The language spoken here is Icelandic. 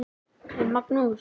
En Magnús